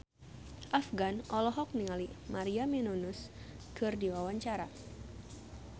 Afgan olohok ningali Maria Menounos keur diwawancara